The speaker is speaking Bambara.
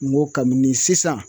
N go kabi ni sisan